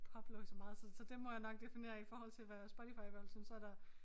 Pop lå i så meget så så det må jeg nok definere i forhold til hvad Spotify i hvert fald synes så der